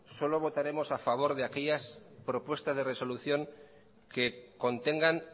solo votaremos a favor de aquellas propuestas de resolución que contengan